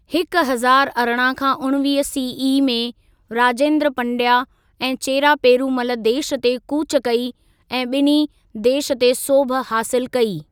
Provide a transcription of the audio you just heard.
हिकु हज़ारु अरिड़हं खां उणिवीह सीई में, राजेंद्र पंडया ऐं चेरा पेरूमल देश ते कूच कई ऐं ॿिन्ही देश ते सोभ हासिल कई।